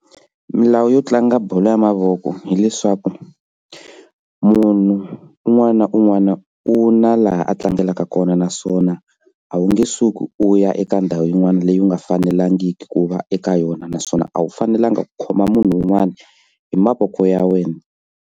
Milawu yo tlanga bolo ya mavoko hileswaku munhu un'wana na un'wana u na laha a tlangelaka kona naswona a wu nge suki u ya eka ndhawu yin'wana leyi nga fanelangiki ku va eka yona naswona a wu fanelanga ku khoma munhu un'wana hi mavoko ya wena.